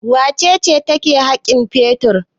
Wace ce take haƙin fetur?